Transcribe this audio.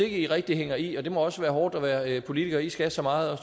i rigtig hænger i det må være hårdt at være politiker i skal så meget og